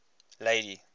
lady